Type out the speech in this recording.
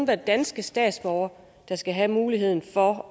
være danske statsborgere der skal have muligheden for